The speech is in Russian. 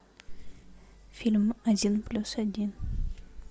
фильм один плюс один